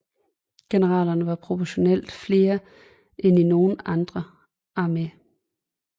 Generalerne var proportionalt flere end i nogen anden armé